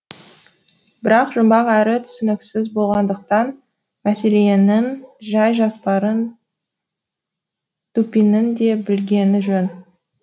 бірақ жұмбақ әрі түсініксіз болғандықтан мәселенің жай жапсарын дупиннің де білгені жөн